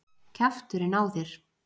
Kjafturinn á þér!